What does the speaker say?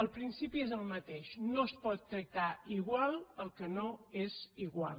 el principi és el mateix no es pot tractar igual el que no és igual